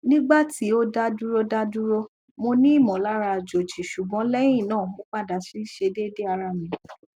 nigba ti o daduro daduro monimọlara ajoji ṣugbọn leyi naa mo pada si dede ara mi